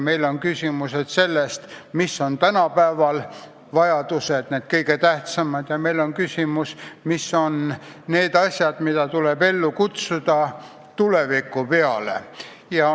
Sealhulgas on küsimus selles, millised on tänapäeval need kõige suuremad vajadused, kõige tähtsamad objektid, mis tuleb kohe käsile võtta, ja mis on need asjad, mida saab lükata tulevikku.